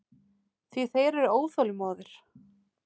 Því þeir eru óþolinmóðir.